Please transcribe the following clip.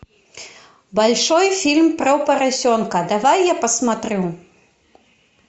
большой фильм про поросенка давай я посмотрю